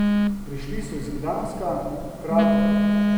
Prišli so iz Gdanska, Krakova ...